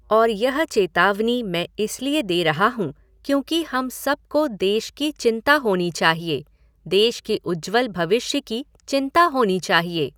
और यह चेतावनी मैं इसलिए दे रहा हूँ क्योंकि हम सबको देश की चिंता होनी चाहिए, देश के उज्ज्वल भविष्य की चिंता होनी चाहिए।